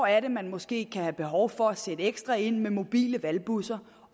er man måske kan have behov for at sætte ekstra ind med mobile valgbusser